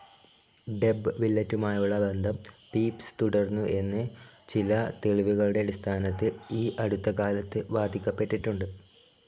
ദേബ്‌ വില്ലെറ്റുമായുള്ള ബന്ധം പീപ്സ്‌ തുടർന്നു എന്ന് ചില തെളിവുകളുടെ അടിസ്ഥാനത്തിൽ ഈ അടുത്ത കാലത്ത് വാദിക്കപ്പെട്ടിട്ടുണ്ട്.